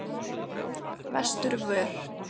Vesturvör